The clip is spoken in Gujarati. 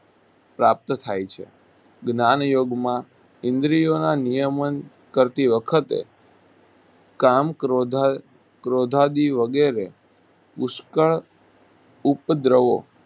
પ્રાપ્ત થાય છે જ્ઞાનયોગમાં ઈન્દ્રિયોના નિયમન કરતી વખતે કામ ક્રોધ ક્રોધાદી વગેરે પુષ્કળ ઉપદ્રવો પ્રાપ્ત થાય છે.